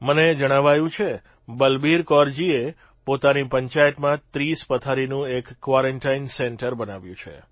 મને જણાવાયું છે બલબીરકૌરજીએ પોતાની પંચાયતમાં 30 પથારીનું એક કવોરંનટાઇન સેન્ટર બનાવ્યું છે